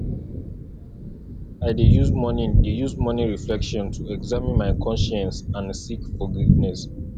i dey use morning dey use morning reflection to examine my conscience and seek forgiveness